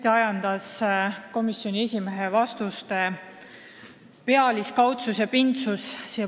Mind ajendas siia pulti tulema komisjoni esimehe vastuste pealiskaudsus ja -pindsus.